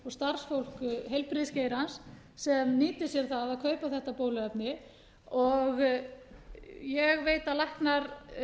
starfsfólk heilbrigðisgeirans sem nýtir sér það að kaupa þetta bóluefni og ég veit að læknar